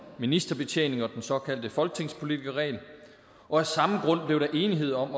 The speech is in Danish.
ministerbetjening og den såkaldte folketingspolitikerregel og af samme grund blev der enighed om